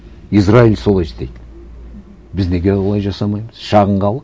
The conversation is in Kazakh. израиль солай істейді біз неге олай жасамаймыз шағын халық